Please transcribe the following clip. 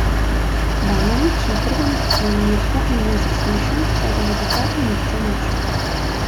Banović na prvem sojenju sploh ni bil zaslišan, saj ga že takrat ni nihče našel.